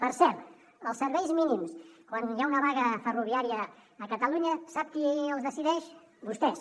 per cert els serveis mínims quan hi ha una vaga ferroviària a catalunya sap qui els decideix vostès